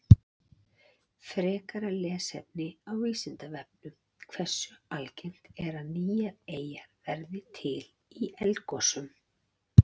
Frekara lesefni á Vísindavefnum: Hversu algengt er að nýjar eyjar verði til í eldgosum?